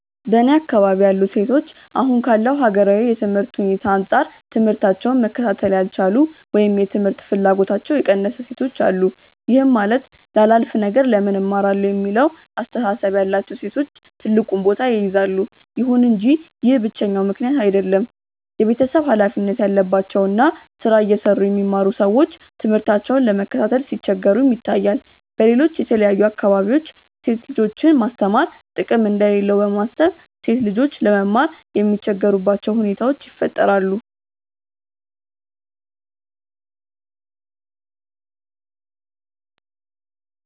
በእኔ አካባቢ ያሉ ሴቶች አሁን ካለው ሀገራዊ የትምህርት ሁኔታ አንጻር ትምህታቸውን መከታተል ያልቻሉ ወይም የትምህርት ፍላጎታቸው የቀነሰ ሴቶች አሉ። ይህም ማለት ላላፍ ነገር ለምን እማራለሁ የሚለው አስተሳሰብ ያላቸው ሴቶች ትልቁን ቦታ ይይዛሉ። ይሁን እንጂ ይህ ብቸኛው ምክንያት አይደለም። የቤተሰብ ሀላፊነት ያለባቸው እና ስራ እየሰሩ የሚማሩ ሰዎች ትምህርታቸውን ለመከታተል ሲቸገሩም ይታያል። በሌሎች የተለያዩ አካባቢዎች ሴት ልጆችን ማስተማር ጥቅም እንደሌለው በማሰብ ሴት ልጆች ለመማር የሚቸገሩባቸው ሁኔታዎች ይፈጠራሉ።